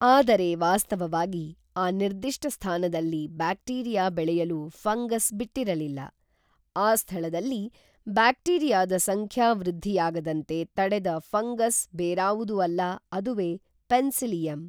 ಆದರೆ ವಾಸ್ತವವಾಗಿ ಆ ನಿರ್ದಿಷ್ಟ ಸ್ಥಾನದಲ್ಲಿ ಬ್ಯಾಕ್ಟೀರಿಯಾ ಬೆಳೆಯಲು ಫಂಗಸ್ ಬಿಟ್ಟಿರಲಿಲ್ಲ, ಆ ಸ್ಥಳದಲ್ಲಿ ಬ್ಯಾಕ್ಟೀರಿಯಾದ ಸಂಖ್ಯಾ ವೃದ್ಧಿಯಾಗದಂತೆ ತಡೆದ ಫಂಗಸ್ ಬೇರಾವುದೂ ಅಲ್ಲ ಅದುವೇ ಪೆನ್ಸಿಲಿಯಮ್